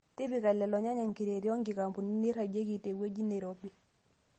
Tipika lelo nyanya nkireeti o nkikapuni neirrajieki tewueji neirobi.